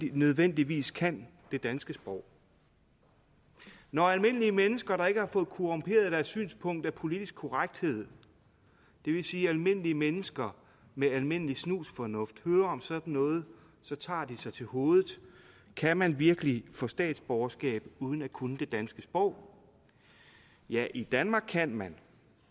nødvendigvis kan det danske sprog når almindelige mennesker der ikke har fået korrumperet deres synspunkt af politisk korrekthed det vil sige almindelige mennesker med almindelig snusfornuft hører om sådan noget tager de sig til hovedet kan man virkelig få statsborgerskab uden at kunne det danske sprog ja i danmark kan man